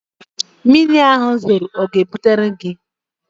Mmiri ahụ zoro ọ ga-ebutere gị?